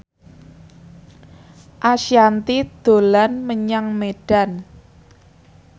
Ashanti dolan menyang Medan